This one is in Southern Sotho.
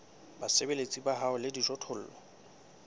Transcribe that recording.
basebeletsi ba hao le dijothollo